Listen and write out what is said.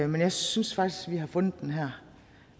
men jeg synes faktisk at vi har fundet den her